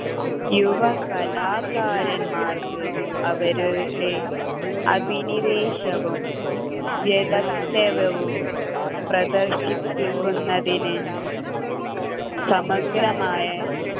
യുവകലാകാരന്മാർക്ക് അവരുടെ അഭിനിവേശവും വ്യദക്തവവും പ്രദർശിപ്പിക്കുന്നതിന് സമഗ്രമായ